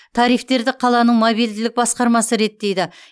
тарифтерді қаланың мобильділік басқармасы реттейді